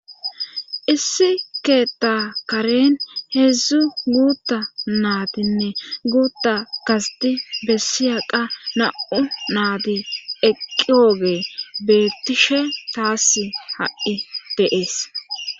Issi keeta karen heedzdzu guutta naatinne guutta kasiti bessiya qa na' naadi eqqiooge beettishe taass ha'i deees.